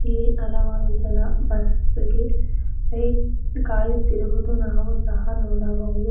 ಈ ಹಲವಾರು ಜನ ಬಸ್ಸಿಗೆ ವೈಟ್ ಕಾಯುತ್ತಿರುವುದು ನಾವು ಸಹ ನೋಡಬಹುದು.